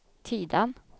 Tidan